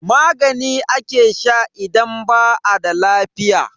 Magani ake sha idan ba a da lafiya.